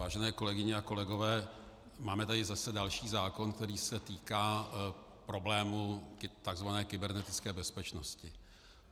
Vážené kolegyně a kolegové, máme tady zase další zákon, který se týká problému tzv. kybernetické bezpečnosti.